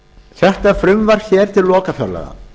þetta frumvarp til lokafjárlaga